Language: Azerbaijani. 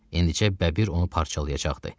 İndicə Bəbir onu parçalayacaqdı.